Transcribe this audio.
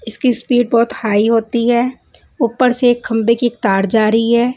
इसकी स्पीड बहोत हाई होती है उपर से एक खम्भे की तार जा रही है।